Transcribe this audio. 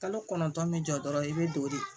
Kalo kɔnɔntɔn min jɔ dɔrɔn i bɛ don de